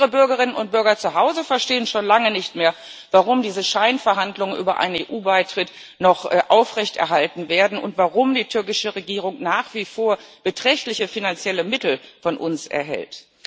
Unsere Bürgerinnen und Bürger zu Hause verstehen schon lange nicht mehr, warum diese Scheinverhandlungen über einen EU Beitritt noch aufrechterhalten werden und warum die türkische Regierung nach wie vor beträchtliche finanzielle Mittel von uns erhält.